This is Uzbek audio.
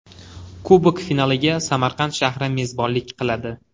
Kubok finaliga Samarqand shahri mezbonlik qiladi.